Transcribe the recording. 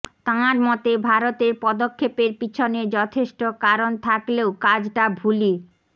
তাঁর মতে ভারতের পদক্ষেপের পিছনে যথেষ্ট কারণ থাকলেও কাজটা ভুলই